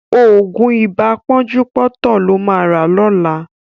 Ògùn ibà pọ́njúpọ́tọ̀ ló ma rà lọ́la